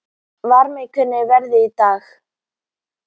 Varmi, hvernig er veðrið í dag?